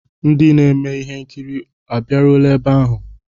Ndị na-eme ihe nkiri abịaruola ebe ahụ?